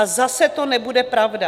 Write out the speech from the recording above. A zase to nebude pravda.